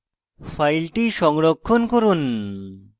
file সংরক্ষণ করুন